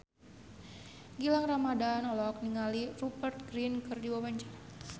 Gilang Ramadan olohok ningali Rupert Grin keur diwawancara